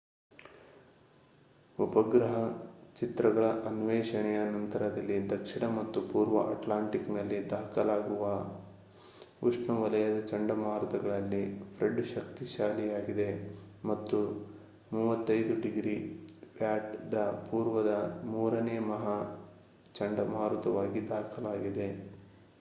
ಉಪಗ್ರಹ ಚಿತ್ರಗಳ ಅನ್ವೇಷಣೆಯ ನಂತರದಲ್ಲಿ ದಕ್ಷಿಣ ಮತ್ತು ಪೂರ್ವ ಅಟ್ಲಾಂಟಿಕ್ ನಲ್ಲಿ ದಾಖಲಾಗಿರುವ ಉಷ್ಣವಲಯದ ಚಂಡಮಾರುತಗಳಲ್ಲಿ ಫ್ರೆಡ್ ಶಕ್ತಿಶಾಲಿಯಾಗಿದೆ ಮತ್ತು 35°w ದ ಪೂರ್ವದ ಮೂರನೇ ಮಹಾ ಚಂಡಮಾರುತವಾಗಿ ದಾಖಲಾಗಿದೆ